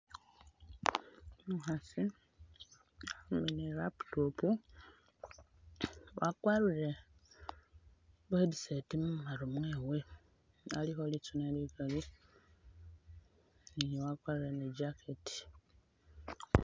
Umukhasi uli ni laptop wakwarire bu headset mumaru mwewe, alikho litsune likali ni wakwarire ni jacket